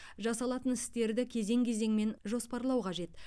жасалатын істерді кезең кезеңмен жоспарлау қажет